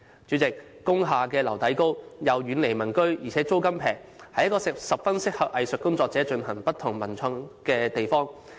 主席，工廈樓底高，又遠離民居，而且租金便宜，是十分適合藝術工作者進行不同文藝創作的地方。